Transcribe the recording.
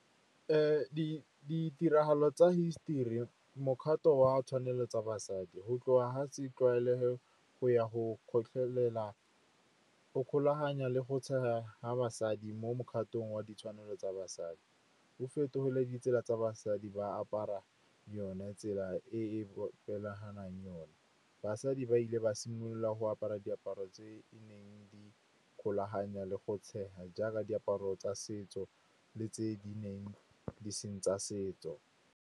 Ditiragalo tsa hisetori, mokgato wa tshwanelo tsa basadi, go tloga ga se tlwaelege go ya go kgotlhela, go kgolaganya le go tshega ga basadi mo mokgatong wa ditshwanelo tsa basadi. Go fetogile ditsela tsa basadi ba apara yone tsela e e yone. Basadi ba ile ba simolola go apara diaparo tse di neng di kgolaganya le go tshega, jaaka diaparo tsa setso le tse di neng di seng tsa setso.